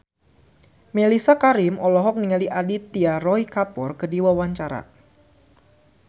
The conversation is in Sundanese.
Mellisa Karim olohok ningali Aditya Roy Kapoor keur diwawancara